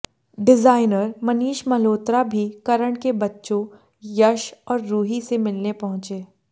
designer Manish Malhotra भी करण के बच्चों यश और रूही से मिलने पहुंचे